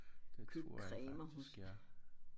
Det tror jeg faktisk ja